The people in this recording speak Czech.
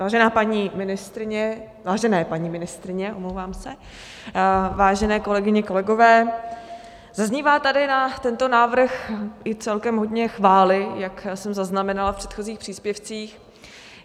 Vážená paní ministryně, vážené paní ministryně, omlouvám se, vážené kolegyně, kolegové, zaznívá tady na tento návrh i celkem hodně chvály, jak jsem zaznamenala v předchozích příspěvcích.